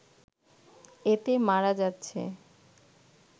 এতে মারা যাচ্ছে